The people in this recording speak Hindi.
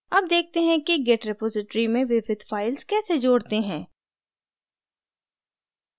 add देखते हैं कि git repository में विविध files कैसे जोड़ते हैं